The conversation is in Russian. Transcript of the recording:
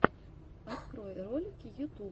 открой ролики ютуб